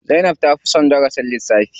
Zainab ta fi son darasin lissafi.